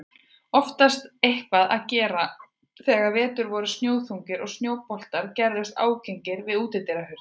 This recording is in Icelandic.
Oftast eitthvað að gera þegar vetur voru snjóþungir og snjóboltar gerðust ágengir við útidyrahurðir.